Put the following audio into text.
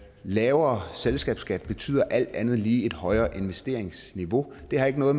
lavere selskabsskat betyder alt andet lige et højt investeringsniveau det har ikke noget